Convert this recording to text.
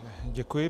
Děkuji.